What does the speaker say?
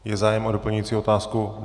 Je zájem o doplňující otázku?